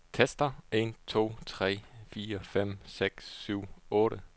Tester en to tre fire fem seks syv otte.